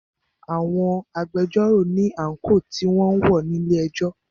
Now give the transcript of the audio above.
Àwọn agbẹjọ́rò ní àńkò tí wọn ń wọ̀ ní ilé ẹjọ́.